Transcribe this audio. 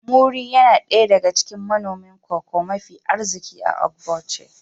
Muri yana daya daga cikin manomin Cocoa mafi arziki a Ogboche